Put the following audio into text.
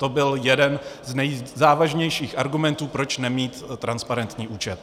To byl jeden z nejzávažnějších argumentů, proč nemít transparentní účet.